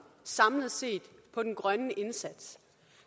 samlet set på den grønne indsats